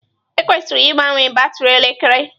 Ekwesịrị ịgbanwe batrị elekere.